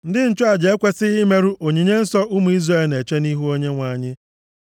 Ndị nchụaja ekwesighị imerụ onyinye nsọ ụmụ Izrel na-eche nʼihu Onyenwe anyị,